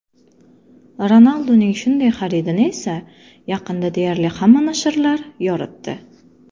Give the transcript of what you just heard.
Ronalduning shunday xaridini esa yaqinda deyarli hamma nashrlar yoritdi.